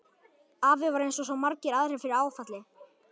Afi varð eins og svo margir aðrir fyrir áfalli.